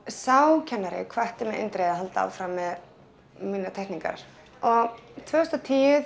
sá kennari hvatti mig eindregið að halda áfram með mínar teikningar og tvö þúsund og tíu